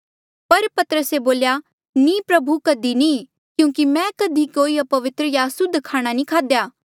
पर पतरसे बोल्या नीं प्रभु कधी नी क्यूंकि मैं कधी कोई अपवित्र या असुद्ध खाणा नी खाध्या